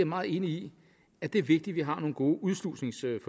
meget enig i at det er vigtigt at vi har nogle gode udslusningsforløb